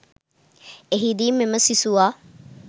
එහිදී මෙම සිසුවා